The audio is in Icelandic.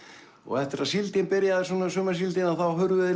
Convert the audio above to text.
eftir að síldin byrjaði sumarsíldin að þá hurfu þeir